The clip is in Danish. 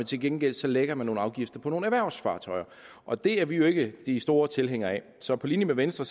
til gengæld lægger nogle afgifter på erhvervsfartøjer og det er vi jo ikke de store tilhængere af så på linje med venstre